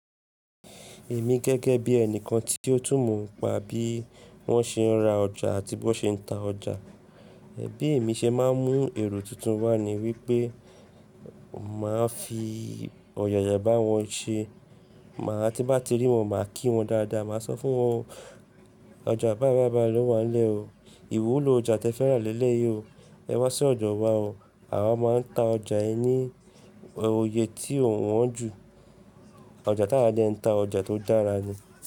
Èmi gẹ́gẹ́ bí ẹnìkan tí ó tú mọ̀ ń pa bí wọ́n ṣe ń ra ọjà àti bí wọ́n ṣe ń ta ọjà. Bi emi ṣẹ máa ń mú èrò tuntun wá ní wí pé màá fi òyàyà bá wọn ṣe. Màá tí bá ti rí wọn, màá kí wọn dáadáa. Màá sọ fún wọn, ọjà báyibàyi báyi. Lọ́ wàá ń lẹ́ o. Ìwuló ọjà tí ẹ fẹ́ rà lélẹ̀ yìí o. Ẹ wá sí ọjà wa o. Àwa maa ń ta ọjà yẹn ní oyè tí òun wọ́n jù. Ọjà tà wa dẹ ń ta ọjà tó dára ni.